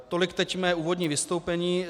Tolik teď mé úvodní vystoupení.